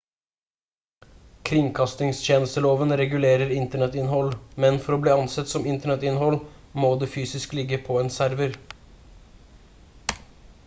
kringkastingstjenesteloven regulerer internettinnhold men for å bli ansett som internettinnhold må det fysisk ligge på en server